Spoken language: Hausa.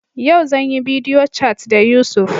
Yau zan yi bidiyo cat da Yusuf.